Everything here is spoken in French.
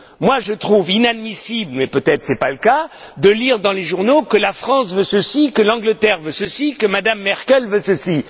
Moi, je trouve inadmissible mais peut être n'est ce pas le cas de lire dans les journaux que la France veut ceci, que l'Angleterre veut ceci, que M me Merkel veut ceci.